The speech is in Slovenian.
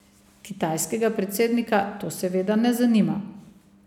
Kitajskega predsednika to seveda ne zanima.